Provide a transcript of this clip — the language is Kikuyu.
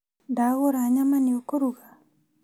Ndagura nyama nĩ ũkũruga?